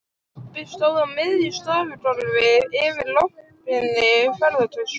Pabbi stóð á miðju stofugólfi yfir opinni ferðatösku.